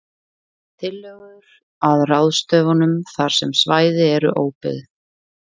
Tillögur að ráðstöfunum þar sem svæði eru óbyggð: